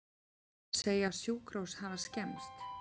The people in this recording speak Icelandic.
Segja sjúkrahús hafa skemmst